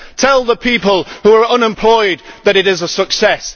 Tell the people who are unemployed that it is a success.